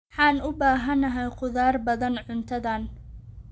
Waxaan u baahanahay khudaar badan cuntadan.